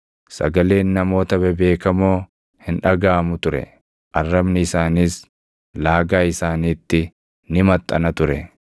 sagaleen namoota bebeekamoo hin dhagaʼamu ture; arrabni isaaniis laagaa isaaniitti ni maxxana ture.